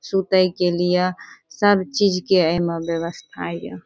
सूते के लिए ए में सब चीज के व्यवस्था ये।